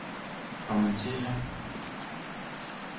kommentere